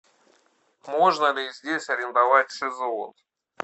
можно ли здесь арендовать шезлонг